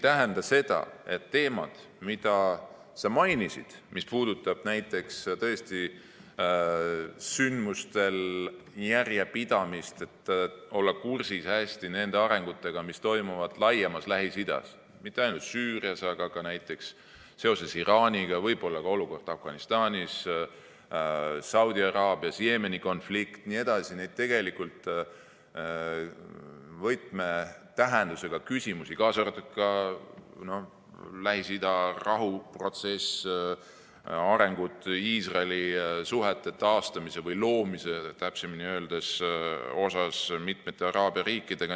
Teemad, mida sa mainisid, mis puudutab näiteks tõesti sündmustes järjepidamist, et olla hästi kursis arengutega, mis toimuvad laiemalt Lähis-Idas, mitte ainult Süürias, aga ka näiteks seoses Iraaniga, võib-olla ka olukord Afganistanis, Saudi Araabias, Jeemeni konflikt jne, on tegelikult võtmetähendusega, kaasa arvatud Lähis-Ida rahuprotsess, arengud suhete taastamisel või loomisel, täpsemini öeldes, Iisraeli ja mitmete araabia riikidega.